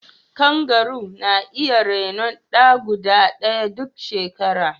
Kangaru na iya renon 'ya guda ɗaya duk shekara.